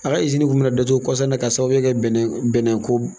A ka kun mina datugu kɔsa in na, ka sababuya kɛ bɛnnɛ bɛnnɛ ko